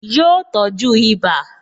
Yọ tọ́jú ibà